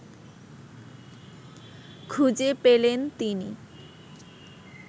খুঁজে পেলেন তিনি